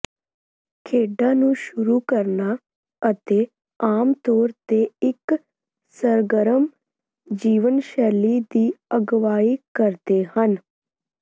ਖੇਡਾਂ ਨੂੰ ਸ਼ੁਰੂ ਕਰਨਾ ਅਤੇ ਆਮ ਤੌਰ ਤੇ ਇਕ ਸਰਗਰਮ ਜੀਵਨਸ਼ੈਲੀ ਦੀ ਅਗਵਾਈ ਕਰਦੇ ਹਨ